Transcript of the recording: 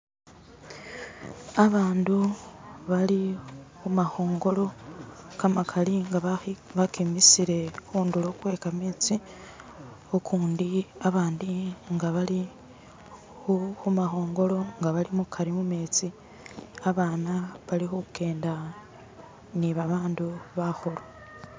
Abandu bali khu khu makhongolo kamakali nga bakimisile khundulo khwekametsi ukundi abandi nga bali khu makhongolo nga bali mukari mu metsi, abaana bali kujjenda ni babandu bakhulu.